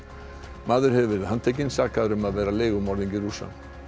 maður hefur verið handtekinn sakaður um að vera leigumorðingi Rússa